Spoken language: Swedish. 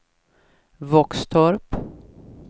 Våxtorp